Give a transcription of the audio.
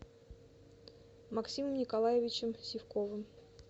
максимом николаевичем сивковым